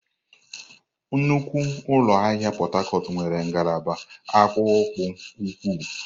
Nnukwu ụlọ ahịa Pot Tarcot nwere ngalaba akpụkpọ ụkwụ.